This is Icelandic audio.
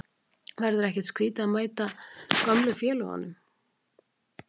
Verður ekkert skrítið að mæta gömlu félögunum?